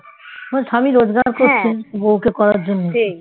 তোমার স্বামী রোজগার করছে বউকে করার জন্যে